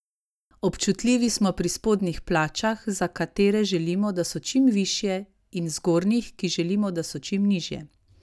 Občutljivi smo pri spodnjih plačah, za katere želimo, da so čim višje, in zgornjih, ki želimo, da so čim nižje.